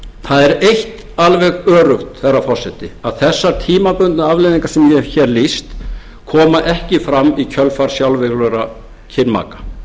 það er eitt alveg öruggt herra forseti að þessar tímabundnu afleiðingar sem ég hef hér lýst koma ekki fram í kjölfar sjálfviljugra kynmaka